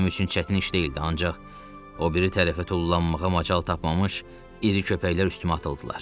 Bu mənim üçün çətin iş deyildi, ancaq o biri tərəfə tullanmağa macal tapmamış iri köpəklər üstümə atıldılar.